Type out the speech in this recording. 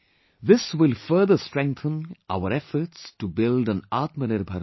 This will further strengthen our efforts to build an Atmanirbhar Bharat